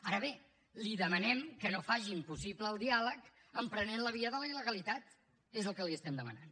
ara bé li demanem que no faci impossible el diàleg emprenent la via de la il·legalitat que és el que li estem demanant